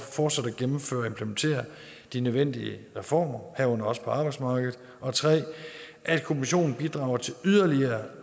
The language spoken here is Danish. fortsat gennemføre og implementere de nødvendige reformer herunder også på arbejdsmarkedet og 3 at kommissionen bidrager til yderligere